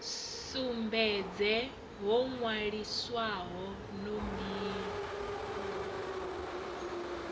sumbedze ho nwaliswaho no mbilo